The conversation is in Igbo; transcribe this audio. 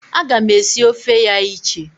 Aga m esi ofe ya iche.